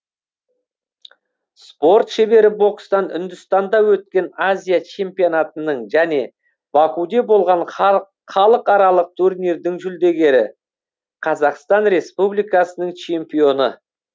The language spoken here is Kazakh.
спорт шебері бокстан үндістанда өткен азия чемпионатының және бакуде болған халықаралық турнирдің жүлдегері қазақстан республикасының чемпионы